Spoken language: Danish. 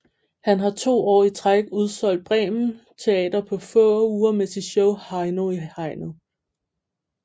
Han har 2 år i træk udsolgt Bremen Teater på få uger med sit show Heino i hegnet